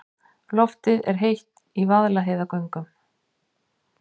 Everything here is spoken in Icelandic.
Loftið er heitt í Vaðlaheiðargöngum.